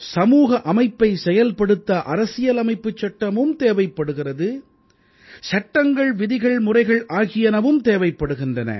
சமூக அமைப்பை செயல்படுத்த அரசியலமைப்புச் சட்டமும் தேவைப்படுகிறது சட்டங்கள் விதிகள் முறைகள் ஆகியனவும் தேவைப்படுகின்றன